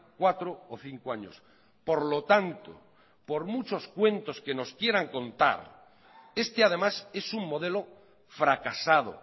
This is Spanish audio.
cuatro o cinco años por lo tanto por muchos cuentos que nos quieran contar este además es un modelo fracasado